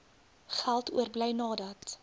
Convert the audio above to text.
geld oorbly nadat